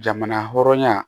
Jamana hɔrɔnya